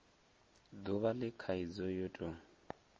duvha le khaidzo yo tou